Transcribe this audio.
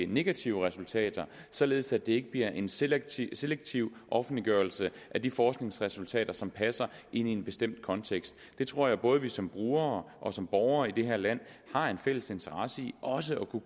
negative resultater således at det ikke bliver en selektiv selektiv offentliggørelse af de forskningsresultater som passer ind i en bestemt kontekst jeg tror at vi både som brugere og som borgere i det her land har en fælles interesse i også at kunne